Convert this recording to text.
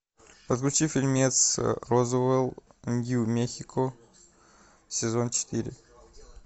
подключи фильмец розуэлл нью мехико сезон четыре